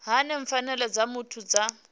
hani pfanelo dza muthu dza